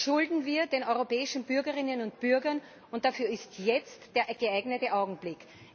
Das schulden wir den europäischen Bürgerinnen und Bürgern, und dafür ist jetzt der geeignete Augenblick.